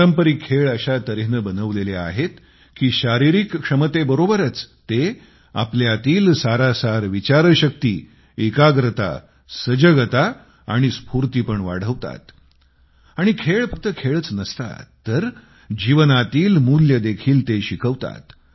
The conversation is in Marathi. पारंपरिक खेळ अशा तऱ्हेने बनवलेले आहेत की शारीरिक क्षमतेबरोबरच ते आपल्यातील सारासार विचारशक्ती एकाग्रता सजगता स्फूर्ती पण वाढवतात आणि खेळ फक्त खेळच नसतात तर जीवनातील मूल्ये देखील ते शिकवतात